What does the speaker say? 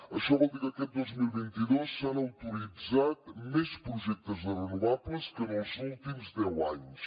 això vol dir que aquest dos mil vint dos s’han autoritzat més projectes de renovables que en els últims deu anys